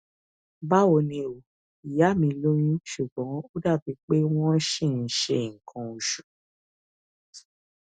báwo ni o ìyá mi lóyún ṣùgbọn ó dàbí pé wọn ṣì ń ṣe nǹkan oṣù